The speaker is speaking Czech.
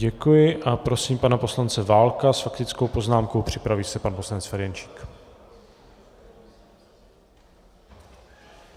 Děkuji a prosím pana poslance Válka s faktickou poznámkou, připraví se pan poslanec Ferjenčík.